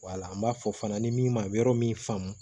Wala an b'a fɔ fana ni min ma yɔrɔ min faamu